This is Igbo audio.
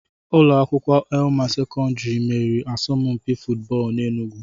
Ụlọ akwụkwọ Elam Sekọndiri meriri asọmpi fụtbọọlu n'Enugwu.